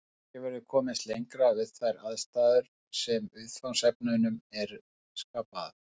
Ekki verður komist lengra við þær aðstæður sem viðfangsefnunum eru skapaðar.